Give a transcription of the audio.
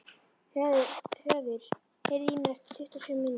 Höður, heyrðu í mér eftir tuttugu og sjö mínútur.